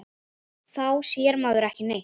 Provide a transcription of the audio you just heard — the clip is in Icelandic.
Þá sér maður ekki neitt.